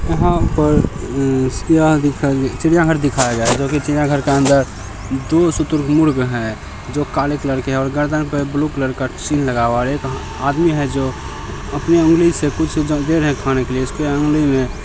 यहाँ पर चिड़िया घर दिखाया गया जो की चिड़िया घर के अदर दो शुतुरमुर्ग है जो काले कलर के है। और गर्दन पे ब्लू कलर का लगा हुआ और एक आदमी है जो अपने ऊँगली से कुछ रहा है। खाने के लिए इसको उंगली मे-----